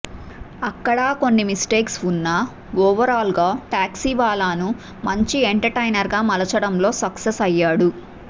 అక్కడా కొన్ని మిస్టేక్స్ ఉన్న ఓవరాల్గా టాక్సీవాలాను మంచి ఎంటర్టైనర్గా మలచడంలో సక్సెస్ అయ్యాడు